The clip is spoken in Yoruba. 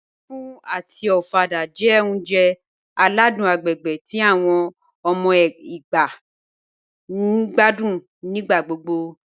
Láfù àti ọ̀fàdà jẹ́ ọ̀uǹjẹ̀ aládùn agbègbè tí awọn ọmọ Ẹgba ǹ gbàdún nígbàgbọ́gbọ́